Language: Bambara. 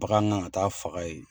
Bagan ŋan ka taa faga ye.